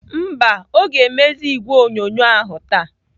Mba, ọ ga-emezi igwe onyonyo ahụ taa.